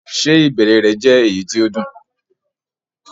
Ṣé ìbẹ̀rẹ̀ rẹ̀ jẹ́ èyí tó dùn?